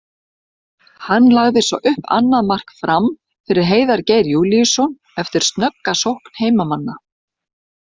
Hann lagði svo upp annað mark Fram fyrir Heiðar Geir Júlíusson eftir snögga sókn heimamanna.